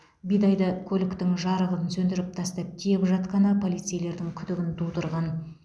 бидайды көліктің жарығын сөндіріп тастап тиеп жатқаны полицейлердің күдігін тудырған